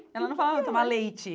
Ela não falava, vamos tomar leite.